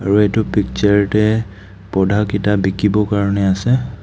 আৰু এইটো পিক্সাৰ অতে পৌধা কেইটা বিকিব কাৰণে আছে.